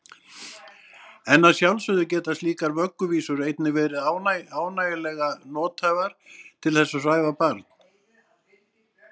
En að sjálfsögðu geta slíkar vögguvísur einnig verið ágætlega nothæfar til þess að svæfa barn.